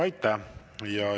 Aitäh!